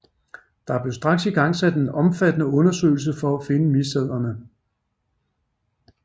Der blev straks igangsat en omfattende undersøgelse for at finde misdæderne